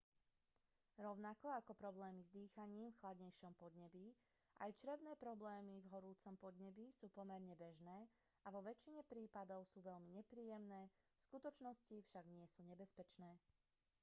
rovnako ako problémy s dýchaním v chladnejšom podnebí aj črevné problémy v horúcom podnebí sú pomerne bežné a vo väčšine prípadov sú veľmi nepríjemné v skutočnosti však nie sú nebezpečné